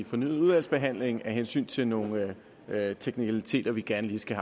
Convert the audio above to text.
fornyet udvalgsbehandling af hensyn til nogle teknikaliteter vi gerne lige skal